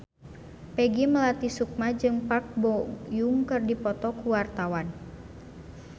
Peggy Melati Sukma jeung Park Bo Yung keur dipoto ku wartawan